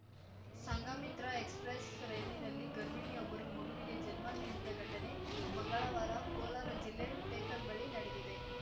Sanghamitra express ರೈಲಿನಲ್ಲಿ ಗರ್ಭಿಣಿಯೊಬ್ಬರು ಮಗುವಿಗೆ ಜನ್ಮ ನೀಡಿದ ಘಟನೆ ಮಂಗಳವಾರ ಕೋಲಾರ ಜಿಲ್ಲೆ ಟೇಕಲ್‌ ಬಳಿ ನಡೆದಿದೆ